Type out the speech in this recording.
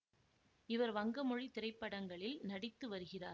இவர் வங்க மொழி திரைப்படங்களில் நடித்து வருகிறார்